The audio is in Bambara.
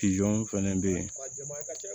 fɛnɛ bɛ yen